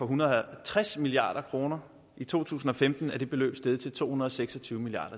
hundrede og tres milliard kroner i to tusind og femten er det beløb steget til to hundrede og seks og tyve milliard